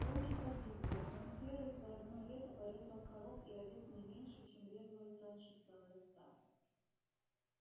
волки погибли но серый за одно лето порезал коров и овец не меньше чем резала их раньше целая стая